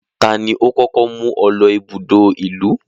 Tani ó kókó mú ọ lọ ibùdó ìlú?